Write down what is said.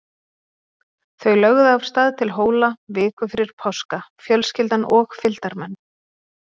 Þau lögðu af stað til Hóla viku fyrir páska, fjölskyldan og fylgdarmenn.